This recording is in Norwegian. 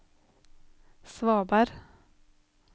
svaberg